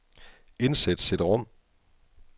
Indsæt cd-rom.